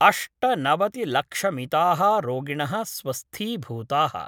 अष्टनवतिलक्षमिता: रोगिणः स्वस्थीभूताः।